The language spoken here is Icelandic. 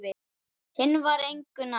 Hinn var engu nær.